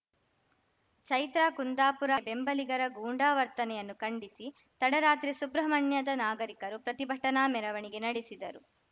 ಚೈತ್ರಾ ಕುಂದಾಪುರ ಬೆಂಬಲಿಗರ ಗೂಂಡಾ ವರ್ತನೆಯನ್ನು ಖಂಡಿಸಿ ತಡರಾತ್ರಿ ಸುಬ್ರಹ್ಮಣ್ಯದ ನಾಗರಿಕರು ಪ್ರತಿಭಟನಾ ಮೆರವಣಿಗೆ ನಡೆಸಿದರು